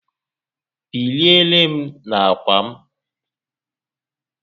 Biliere m n'akwa m